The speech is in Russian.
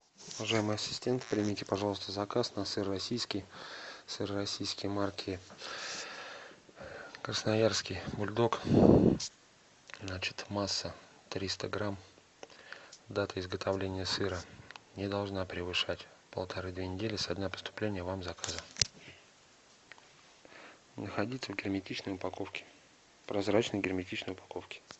уважаемый ассистент примите пожалуйста заказ на сыр российский сыр российский марки красноярский бульдог значит масса триста грамм дата изготовления сыра не должна превышать полторы две недели со дня поступления вам заказа находиться в герметичной упаковке прозрачной герметичной упаковке